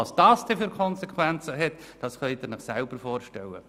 Welche Konsequenzen dies hat, können Sie sich vorstellen.